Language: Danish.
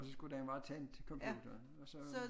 Og så skulle den være tændt computeren og så